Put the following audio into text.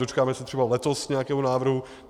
Dočkáme se třeba letos nějakého návrhu?